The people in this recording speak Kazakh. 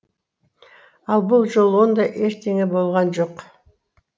ал бұл жолы ондай ештеңе болған жоқ